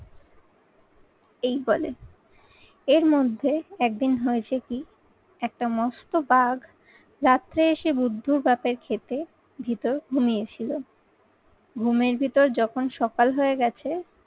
এই বলে। এর মধ্যে একদিন হয়েছে কি একটা মস্ত বাঘ রাত্রে এসে বুদ্ধ বাপের ক্ষেতে, ভিতর ঘুমিয়ে ছিল। ঘুমের ভিতর যখন সকাল হয়ে গেছে,